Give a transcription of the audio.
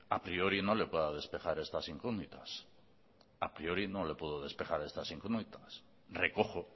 a priori no le pueda despejar estas incógnitas a priori no le puedo despejar estas incógnitas recojo